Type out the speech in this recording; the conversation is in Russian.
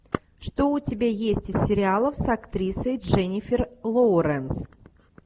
что у тебя есть из сериалов с актрисой дженифер лоуренс